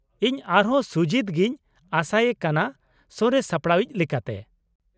ᱤᱧ ᱟᱨᱦᱚᱸ ᱥᱩᱡᱤᱛ ᱜᱮᱧ ᱟᱥᱟᱭᱮ ᱠᱟᱱᱟ ᱥᱚᱨᱮᱥ ᱥᱟᱯᱲᱟᱣᱤᱡ ᱞᱮᱠᱟᱛᱮ ᱾